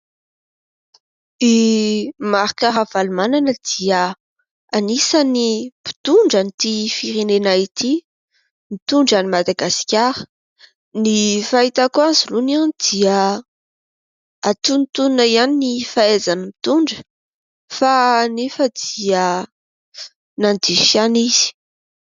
I Marc Ravalomanana dia anisany mpitondran'ity firenena ity mitondra an'i Madagasikara. Ny fahitako azy aloha dia antonontonony ihany ny fahaizany mitondra fa nefa dia nandiso ihany izy.